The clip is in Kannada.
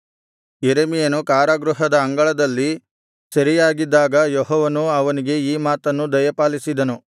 ಯೆರೆಮೀಯನು ಕಾರಾಗೃಹದ ಅಂಗಳದಲ್ಲಿ ಸೆರೆಯಾಗಿದ್ದಾಗ ಯೆಹೋವನು ಅವನಿಗೆ ಈ ಮಾತನ್ನು ದಯಪಾಲಿಸಿದನು